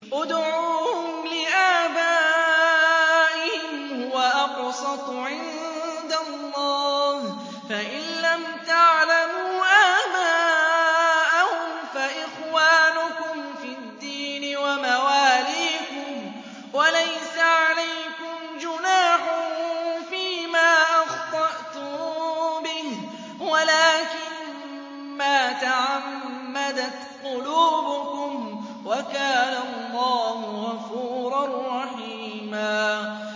ادْعُوهُمْ لِآبَائِهِمْ هُوَ أَقْسَطُ عِندَ اللَّهِ ۚ فَإِن لَّمْ تَعْلَمُوا آبَاءَهُمْ فَإِخْوَانُكُمْ فِي الدِّينِ وَمَوَالِيكُمْ ۚ وَلَيْسَ عَلَيْكُمْ جُنَاحٌ فِيمَا أَخْطَأْتُم بِهِ وَلَٰكِن مَّا تَعَمَّدَتْ قُلُوبُكُمْ ۚ وَكَانَ اللَّهُ غَفُورًا رَّحِيمًا